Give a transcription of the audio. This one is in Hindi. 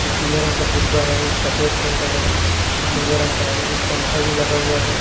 एक पीले रंग का फुग्गा है एक सफेद रंग का है एक नीले रंग का है एक पंखा भी लगा हुआ हैं।